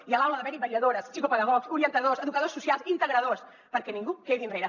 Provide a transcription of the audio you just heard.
i a l’aula ha d’haver hi vetlladores psicopedagogs orientadors educadors socials integradors perquè ningú quedi enrere